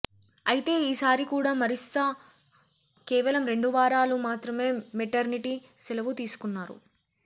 అయితే ఈసారి కూడా మరిస్సా కేవలం రెండు వారాలు మాత్రమే మెటర్నిటీ సెలవు తీసుకున్నారు